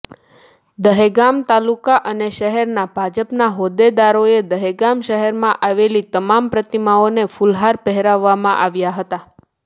દહેગામ તાલુકા અને શહેરના ભાજપના હોદ્દેદારોએ દહેગામ શહેરમા આવેલી તમામ પ્રતીમાઓને ફુલહાર પહેરાવવામા આવ્યા હતા